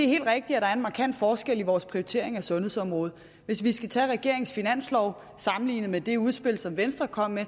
helt rigtigt at der er en markant forskel på vores prioritering af sundhedsområdet hvis vi skal tage regeringens finanslov og sammenligne den med det udspil som venstre kom med